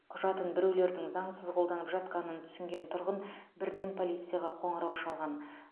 құжатын біреулердің заңсыз қолданып жатқанын түсінген тұрғын бірден полицияға қоңырау шалған